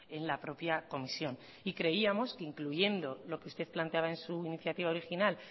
en la propia comisión y creíamos que incluyendo lo que usted planteaba en su iniciativa original